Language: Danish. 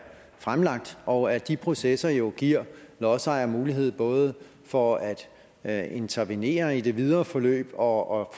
fremlagt og at de processer jo giver lodsejer mulighed både for at at intervenere i det videre forløb og